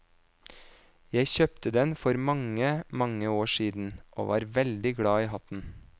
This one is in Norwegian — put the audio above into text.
Jeg kjøpte den for mange, mange år siden, og var veldig glad i hatten.